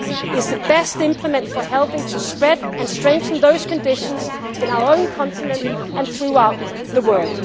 The Union is the best implement for helping to spread and strengthen those conditions in our own continent and throughout the